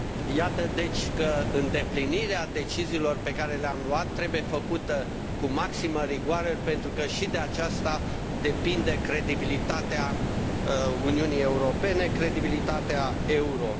Iată, deci, că îndeplinirea deciziilor pe care le am luat trebuie făcută cu maximă rigoare, pentru că și de aceasta depinde credibilitatea Uniunii Europene, credibilitatea euro.